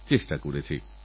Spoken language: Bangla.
কোটিমনের গর্ব তোমরা